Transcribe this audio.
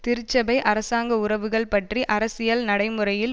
திருச்சபை அரசாங்க உறவுகள் பற்றி அரசியல் நடைமுறையில்